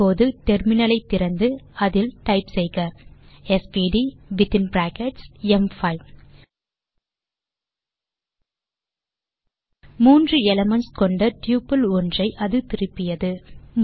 இப்போது டெர்மினல் திறந்து அதில் டைப் செய்க எஸ்விடி வித்தின் பிராக்கெட்ஸ் ம்5 3 எலிமென்ட்ஸ் கொண்ட டப்பிள் ஒன்றை அது திருப்பியது